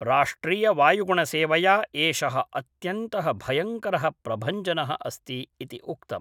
राष्ट्रीयवायुगुणसेवया, एषः अत्यन्तः भयङ्करः प्रभञ्जनः अस्ति इति उक्तम्।